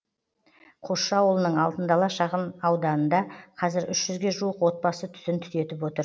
қосшы ауылының алтын дала шағынауданында қазір үш жүзге жуық отбасы түтін түтетіп отыр